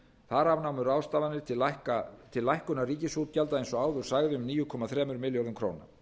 þar af námu ráðstafanir til lækkunar ríkisútgjalda eins og áður sagði um níu komma þremur milljörðum króna